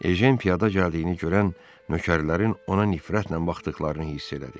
Ejen piyada gəldiyini görən nökərlərin ona nifrətlə baxdıqlarını hiss elədi.